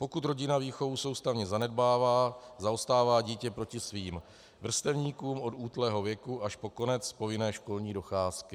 Pokud rodina výchovu soustavně zanedbává, zaostává dítě proti svým vrstevníkům od útlého věku až po konec povinné školní docházky.